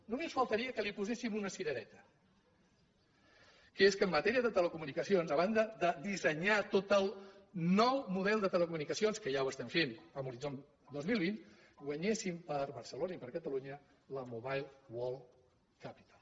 només faltaria que li poséssim una cirereta que és que en matèria de telecomunicacions a banda de dissenyar tot el nou model de telecomunicacions que ja ho estem fent amb horitzó dos mil vint guanyéssim per a barcelona i per a catalunya la mobile world capital